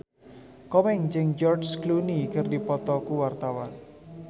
Komeng jeung George Clooney keur dipoto ku wartawan